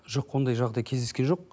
жоқ ондай жағдай кездескен жоқ